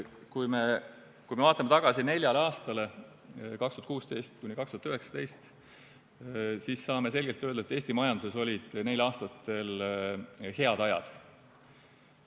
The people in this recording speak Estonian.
Kui me vaatame tagasi neljale aastale, 2016–2019, siis saame selgelt öelda, et Eesti majanduses olid neil aastatel head ajad.